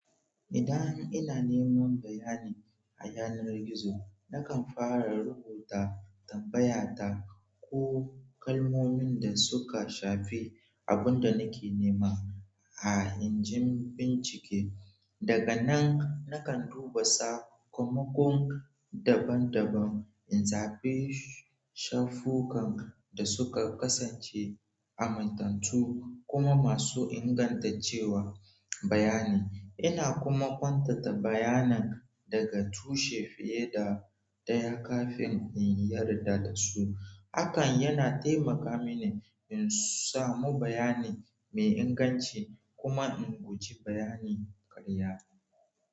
Idan ina neman bayani a yanar gizo, nakan fara rubuta tambaya ta ko kalmomin da suka shafi abun da nake nema a injin bincike. Daga nan, nakan duba sakamakon daban-daban, in zaɓi shafukan da suka kasance amintattu kuma masu ingantaccen bayani. Ina kuma kwantata bayanin daga tushe fiye da ɗaya kafin in yarda da su. Hakan yana taimaka mini in samu bayani mai inganci kuma in guji bayani ƙarya.